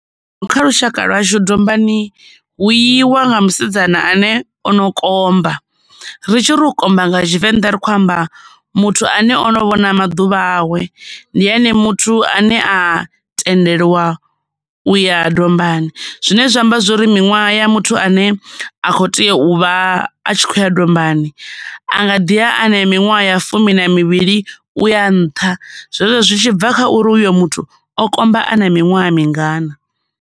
Kha lushaka lwa hashu dombani hu iwa nga musidzana ane ono komba, ri tshi ri u komba nga Tshivenḓa ri khou amba muthu ane o no vhona maḓuvha awe ndi ene muthu ane a tendelwa u ya dombani zwine zwa amba zwori miṅwaha ya muthu ane a kho tea u vha a tshi khou ya dombani a nga ḓi a na minwaha ya fumi na mivhili uya nṱha. Zwezwo zwi tshi bva kha uri uyo muthu o komba a na miṅwaha mingana.